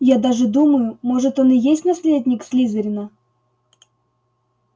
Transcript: я даже думаю может он и есть наследник слизерина